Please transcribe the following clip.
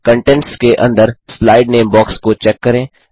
contents के अंदर slide नामे बॉक्स को चेक करें